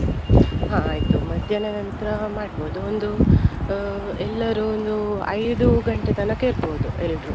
ಹಾ ಆಯ್ತು. ಮಧ್ಯಾಹ್ನ ನಂತ್ರ ಮಾಡ್ಬೋದು ಒಂದು ಆ ಎಲ್ಲರು ಒಂದು ಐದು ಗಂಟೆ ತನಕ ಇರ್ಬೋದು ಎಲ್ರು.